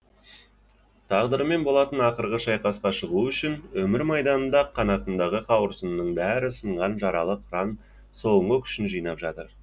тағдырымен болатын ақырғы шайқасқа шығу үшін өмір майданында қанатындағы қауырсынының бәрі сынған жаралы қыран соңғы күшін жинап жатыр